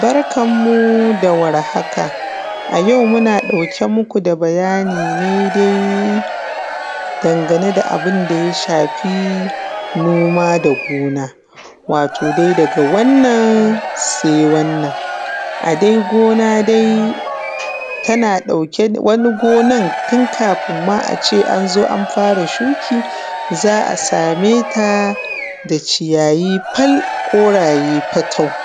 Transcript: Barkan mu da warhaka. A yau muna ɗauke muku da bayani ne dai dan gane da abunda ya shafi noma da gona. Wato dai daga wannan sai wannan, wani gonan tun kafun ma ace anfara shuki za’a sameta da ciyayi fal koraye fatau,